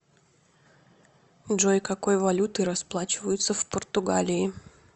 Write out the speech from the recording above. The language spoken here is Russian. джой какой валютой расплачиваются в португалии